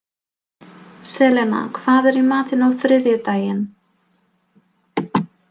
Selena, hvað er í matinn á þriðjudaginn?